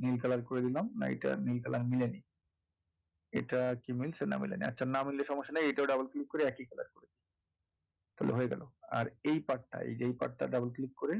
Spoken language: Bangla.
নীল colour করে দিলাম না এইটা নীল colour মিলেনি এটা কি মিলছে না মিলেনি না মিললে সমস্যা নেই এইটাও double click করে একই, তাহলে হয়ে গেলো এই part টা এই যে এই part টা double click করে